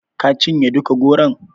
Ka cinye duka goron?